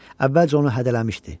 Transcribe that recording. Əvvəlcə onu hədələmişdi.